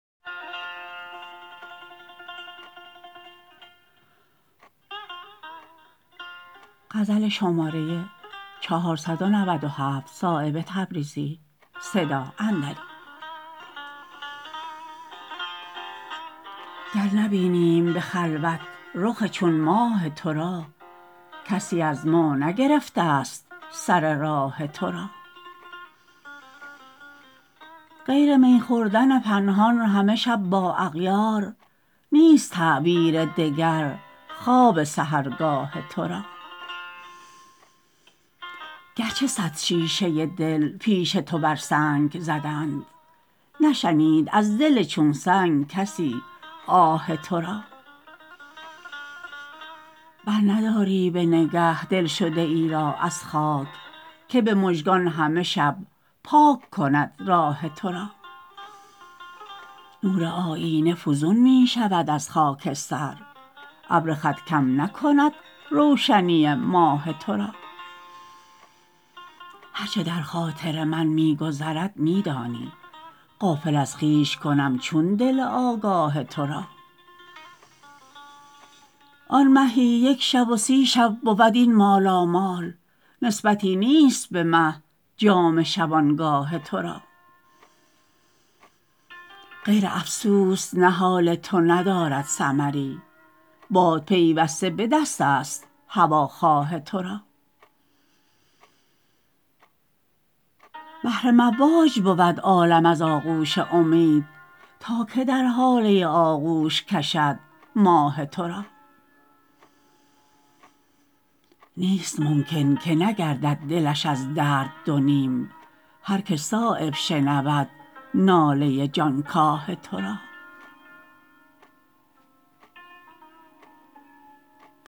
گر نبینیم به خلوت رخ چون ماه ترا کسی از ما نگرفته است سر راه ترا غیر می خوردن پنهان همه شب با اغیار نیست تعبیر دگر خواب سحرگاه ترا گرچه صد شیشه دل پیش تو بر سنگ زدند نشنید از دل چون سنگ کسی آه ترا برنداری به نگه دلشده ای را از خاک که به مژگان همه شب پاک کند راه ترا نور آیینه فزون می شود از خاکستر ابر خط کم نکند روشنی ماه ترا هر چه در خاطر من می گذرد می دانی غافل از خویش کنم چون دل آگاه ترا آن مهی یک شب و سی شب بود این مالامال نسبتی نیست به مهجام شبانگاه ترا غیر افسوس نهال تو ندارد ثمری باد پیوسته به دست است هوا خواه ترا بحر مواج بود عالم از آغوش امید تا که در هاله آغوش کشد ماه ترا نیست ممکن که نگردد دلش از درد دو نیم هر که صایب شنود ناله جانکاه ترا